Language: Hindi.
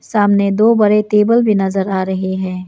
सामने दो बड़े टेबल भी नजर आ रहे हैं।